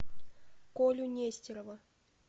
колю нестерова